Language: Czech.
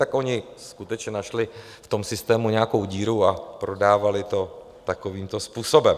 Tak oni skutečně našli v tom systému nějakou díru a prodávali to takovýmto způsobem.